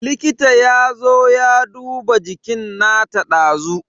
Likita yazo ya duba jikin nata dazu.